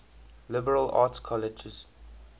liberal arts colleges